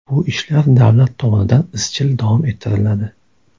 Bu ishlar davlat tomonidan izchil davom ettiriladi.